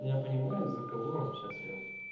я понимаю за кого он сейчас я